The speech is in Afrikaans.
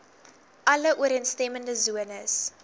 alle ooreenstemmende sones